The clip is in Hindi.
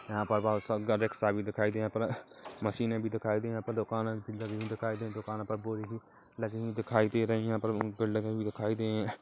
यहाँ पर बहोत सा घर रिक्सा भी दिखाई दिए यहाँ पर मशीने भी दिए यहाँ पर दुकान भी दिखाई दी दुकान पर बोरी भी लगी हुई दिखाई दे रही यहाँ पर पेड़ लगे भी दिखाई दीं--